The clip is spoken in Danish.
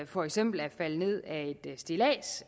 for eksempel er faldet ned af et stillads